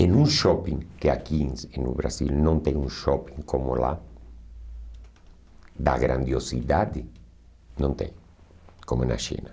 Em um shopping, que aqui em no Brasil não tem um shopping como lá, da grandiosidade, não tem, como na China.